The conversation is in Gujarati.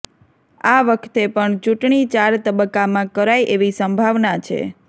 આ વખતે પણ ચૂંટણી ચાર તબક્કામાં કરાય એવી સંભાવના છે